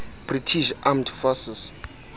british armed forces